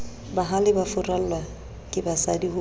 bahale ba furallwa kebasadi ho